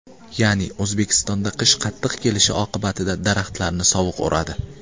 Ya’ni O‘zbekistonda qish qattiq kelishi oqibatida daraxtlarni sovuq uradi.